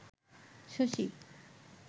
Shashi